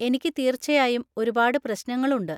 എനിക്ക് തീർച്ചയായും ഒരുപാട് പ്രശ്നങ്ങൾ ഉണ്ട്.